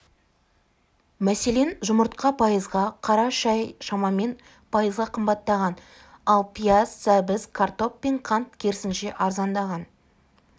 мәселен жұмыртқа пайызға қара шай шамамен пайызға қымбаттаған ал пияз сәбіз картоп пен қант керісінше арзандаған